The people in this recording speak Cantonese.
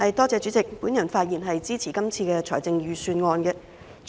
代理主席，我發言支持這份財政預算案。